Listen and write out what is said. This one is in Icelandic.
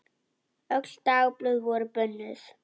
Öll dagblöð voru bönnuð.